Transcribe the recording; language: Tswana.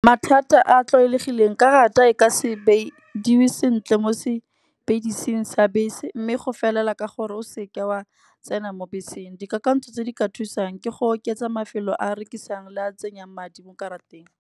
Mathata a a tlwaelegileng karata e ka sentle mo sa bese. Mme go felela ka gore o seka o a tsena mo beseng, dikakanyo tse di ka thusang ke go oketsa mafelo a rekisang le a tsenyang madi mo karateng.